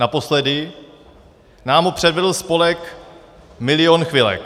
Naposledy nám ho předvedl spolek Milion chvilek.